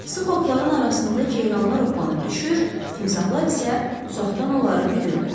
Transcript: Sıx otların arasında ceyranlar oplanıb düşür, timsahlar isə uzaqdan onları güdürdü.